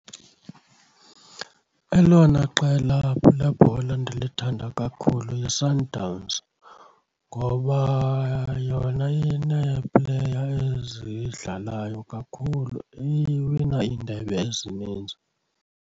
Elona qela lebhola ndilithanda kakhulu yiSundowns ngoba yona inee-player ezidlalayo kakhulu, iwina iindebe ezininzi.